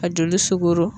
Ka joli sogo